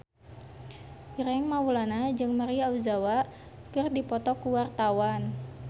Ireng Maulana jeung Maria Ozawa keur dipoto ku wartawan